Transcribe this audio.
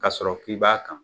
K'a sɔrɔ k'i b'a kan